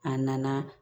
A nana